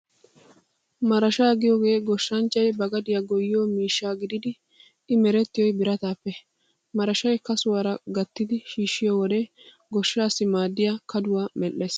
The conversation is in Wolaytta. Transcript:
Marashaa giyoogee goshshanchchay ba gadiyaa goyyiyo miishsha gididi I merettiyoy birataappe. Marashay kasuwaara gattidi shiishshiyo wode goshshaassi maaddiyaa kaduwaa medhdhees.